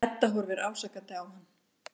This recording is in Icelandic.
Edda horfir ásakandi á hann.